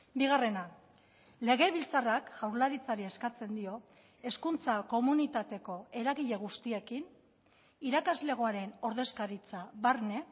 bigarrena legebiltzarrak jaurlaritzari eskatzen dio hezkuntza komunitateko eragile guztiekin irakaslegoaren ordezkaritza barne